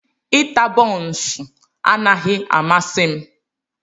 Ita bonsuu anaghị amasị m.